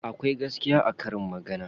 Akwai gaskiya a karin magana.